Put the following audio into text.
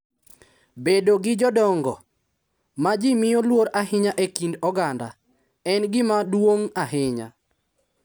Bedo gi jodongo, ma ji miyo luor ahinya e kind oganda, en gima duong’ ahinya.